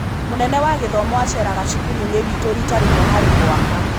Mũnene wa gĩthomo aceraga cukuru-inĩ witũ rita rĩmwe harĩ mwaka.